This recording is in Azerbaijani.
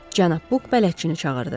Cənab Buk bələdçini çağırdı.